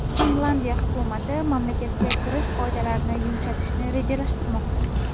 Finlyandiya hukumati mamlakatga kirish qoidalarini yumshatishni rejalashtirmoqda.